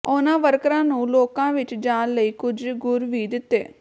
ਉਨ੍ਹਾਂ ਵਰਕਰਾਂ ਨੂੰ ਲੋਕਾਂ ਵਿੱਚ ਜਾਣ ਲਈ ਕੁਝ ਗੁਰ ਵੀ ਦਿੱਤੇ